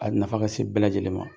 A b nafa ka se bɛɛ lajɛlen ma.